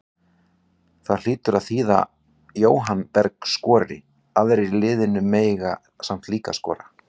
Það hlýtur að þýða Jóhann Berg skori, aðrir í liðinu mega samt líka skora.